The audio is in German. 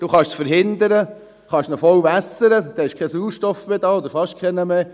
Sie können dies verhindern, Sie können ihn voll wässern, dann ist kein Sauerstoff mehr da oder fast keiner mehr.